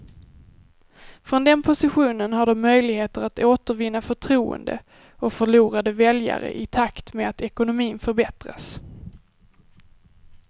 Från den positionen har de möjligheter att återvinna förtroende och förlorade väljare i takt med att ekonomin förbättras.